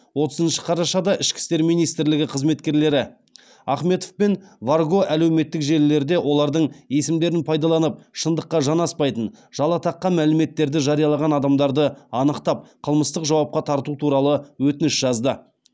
отызыншы қарашада ішкі істер министрлігі қызметкерлері ахметов пен варго әлеуметтік желілерде олардың есімдерін пайдаланып шындыққа жанаспайтын жала таққан мәліметтерді жариялаған адамдарды анықтап қылмыстық жауапқа тарту туралы өтініш жазды